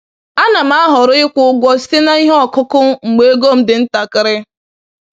A na m ahọrọ ịkwụ ụgwọ site na ihe ọkụkụ mgbe ego m dị ntakịrị